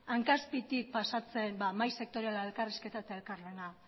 hanka azpitik pasatzen mahai sektoriala elkarrizketa eta elkarlana